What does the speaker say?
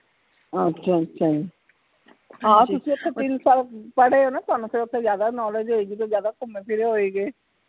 ਅੱਛਾ ਅੱਛਾ ਆਹ ਤੁਸੀਂ ਓਥੇ ਤਿੰਨ ਸਾਲ ਪੜੇ ਹੋ ਨਾ ਤੁਹਾਨੂੰ ਤਾ ਓਥੇ ਜਿਆਦਾ knowledge ਹੋਵੇਗੀ ਤੁਸੀਂ ਜਿਆਦਾ ਘੁੰਮੇ ਫਿਰੇ ਹੋਏਗੇ